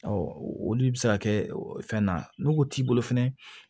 olu bɛ se ka kɛ fɛn na n'u t'i bolo fɛnɛ